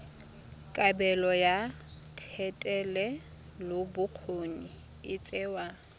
kabelo ya thetelelobokgoni e tsewa